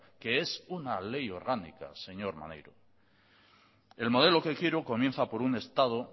que es una ley orgánica señor maneiro el modelo que quiero comienza por un estado